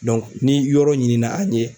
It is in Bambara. ni yɔrɔ ɲinina an ɲe